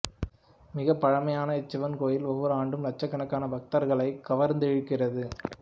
மிக பழமையான இச்சிவன் கோவில் ஒவ்வொரு ஆண்டும் லட்சக்கணக்கான பக்தர்களை கவர்ந்திழுக்கிறது